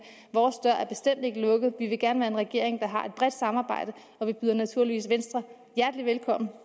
vores dør er bestemt ikke lukket vi vil gerne være en regering der har et bredt samarbejde og vi byder naturligvis venstre hjertelig velkommen